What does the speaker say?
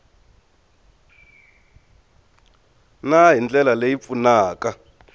na hi ndlela leyi pfunaka